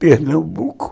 Pernambuco.